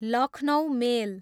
Lucknow मेल